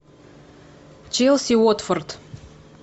челси уотфорд